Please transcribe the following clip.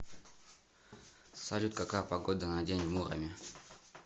салют какая погода на день в муроме